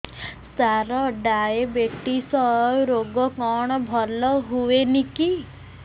ସାର diabetes ରୋଗ କଣ ଭଲ ହୁଏନି କି